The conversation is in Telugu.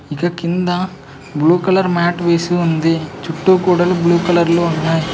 ఇక కింద బ్లూ కలర్ మ్యాట్ వేసి ఉంది చుట్టూ గోడలు బ్లూ కలర్ లో ఉన్నాయ్.